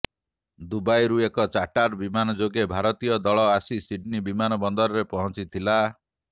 ଦୁବାଇରୁ ଏକ ଚାର୍ଟାର ବିମାନ ଯୋଗେ ଭାରତୀୟ ଦଳ ଆସି ସିଡନୀ ବିମାନ ବନ୍ଦରରେ ପହଁଚିଥିଲା